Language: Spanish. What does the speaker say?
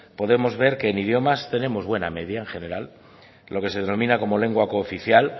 podemos ver que en idiomas tenemos buena media en general lo que se denomina como lengua cooficial